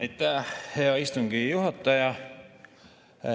Aitäh, hea istungi juhataja!